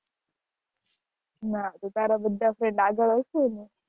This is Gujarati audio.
ના તો તારા બધા friend આગળ હશે ને